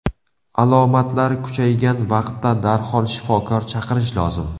Alomatlar kuchaygan vaqtda darhol shifokor chaqirish lozim.